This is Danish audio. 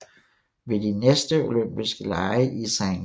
Ved de næste Olympiske Lege i St